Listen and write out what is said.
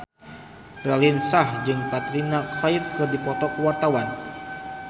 Raline Shah jeung Katrina Kaif keur dipoto ku wartawan